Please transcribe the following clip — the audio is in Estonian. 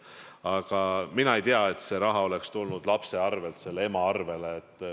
Aga mina ei tea, et see raha oleks tulnud lapse kontolt selle ema kontole.